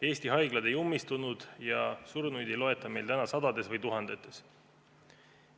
Eesti haiglad ei ummistunud ja surnuid ei loeta meil täna sadades või tuhandetes.